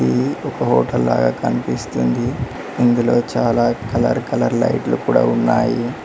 ఇది ఒక హోటల్ లాగా కనిపిస్తుంది ఇందులో చాలా కలర్ కలర్ లైట్లు కూడా ఉన్నాయి.